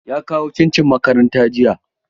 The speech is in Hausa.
Ya kawo cincin makaranta jiya.